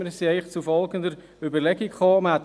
Wir sind zur folgenden Überlegung gelangt: